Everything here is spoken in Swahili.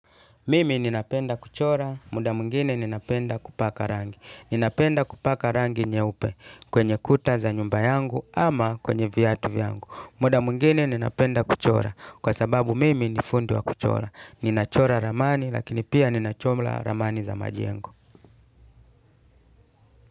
Mimi ninapenda kuchora, muda mwingine ninapenda kupaka rangi. Ninapenda kupaka rangi nyeupe, kwenye kuta za nyumba yangu ama kwenye viatu vyangu. Muda mwingine ninapenda kuchora, kwa sababu mimi ni fundi wa kuchora. Ninachora ramani, lakini pia ninachora ramani za majengo.